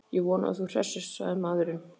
Ég vona að þú hressist, sagði maðurinn.